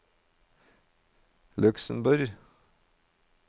Luxemborg